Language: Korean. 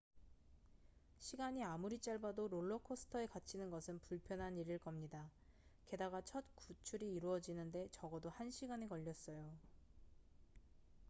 시간이 아무리 짧아도 롤러코스터에 갇히는 것은 불편한 일일 겁니다 게다가 첫 구출이 이루어지는데 적어도 한 시간이 걸렸어요